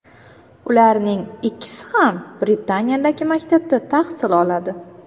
Ularning ikkisi ham Britaniyadagi maktabda tahsil oladi.